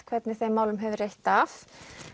hvernig þeim málum hefur reitt af